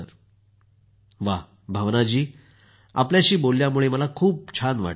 मोदी जीः भावना जी आपल्याशी बोलल्यामुळे मला खूप छान वाटलं